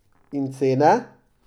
In cene?